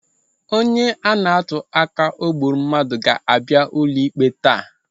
Onye ana-atuaka na o gburu mmadụ ga-abịa ụlọikpe taa.